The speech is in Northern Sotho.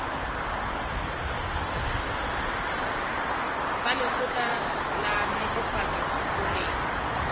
sa lekgotla la netefatšo boleng